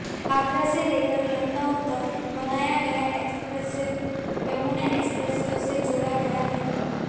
आगरा से लेकर लखनऊ तक बनाया गया एक्सप्रेसवे यमुना एक्सप्रेसवे से जोड़ा गया है